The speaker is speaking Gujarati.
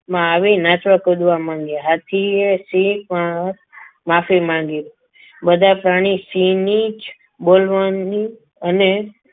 આવીને નાચવા કૂદવા મંડ્યા હાથીએ સિંહ પર માફી માંગી બધા પ્રાણી સિંહની જ મળવાની અને